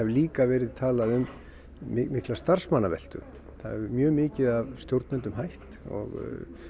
líka talað um mikla starfsmannaveltu það hafa mjög mikið af stjórnendum hætt og